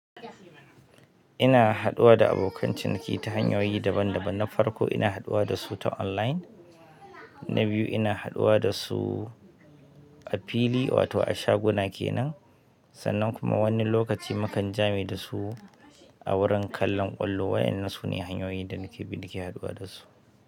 Ina haɗuwa da abokan ciniki ta hanyoyi daban daban. Na farko ina haɗuwa da su ta online, na biyu ina haɗuwa da su a fili wato a shaguna kenan, sannan kuma wani lokaci mukan jame da su a wurin kallon ƙwallo. Wa ƴannan suna ne hanyoyin da muke bi nake haɗuwa da su.